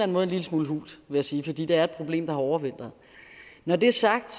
måde en lille smule hult vil jeg sige fordi det er et problem der har overvintret når det er sagt